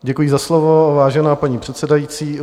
Děkuji za slovo, vážená paní předsedající.